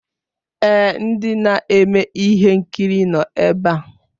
Èé, ndị na-eme ihe nkiri nọ ebe a.